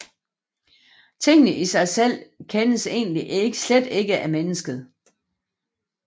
Tingene i sig selv kendes egentlig slet ikke af mennesket